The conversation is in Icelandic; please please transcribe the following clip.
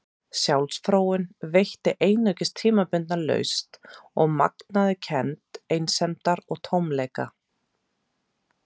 Sjálfsfróun veitti einungis tímabundna lausn og magnaði kennd einsemdar og tómleika.